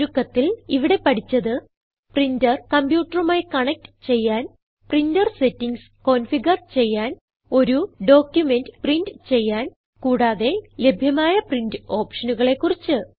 ചുരുക്കത്തിൽ ഇവിടെ പഠിച്ചത് പ്രിന്റർ കംപ്യൂട്ടറുമായി കണക്റ്റ് ചെയ്യാൻ പ്രിന്റർ സെറ്റിംഗ്സ് കോൻഫിഗർ ചെയ്യാൻ ഒരു ഡോക്യുമെന്റ് പ്രിന്റ് ചെയ്യാൻ കൂടാതെ ലഭ്യമായ പ്രീന്റ് ഓപ്ഷനുകളെ കുറിച്ച്